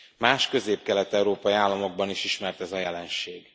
Más közép kelet európai államokban is ismert ez a jelenség.